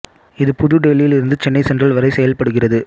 இது புது டெல்லியில் இருந்து சென்னை சென்ட்ரல் வரை செயல்படுகிறது